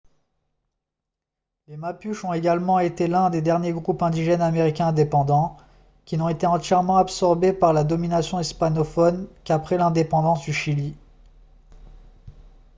les mapuches ont également été l'un des derniers groupes indigènes américains indépendants qui n'ont été entièrement absorbés par la domination hispanophone qu'après l'indépendance du chili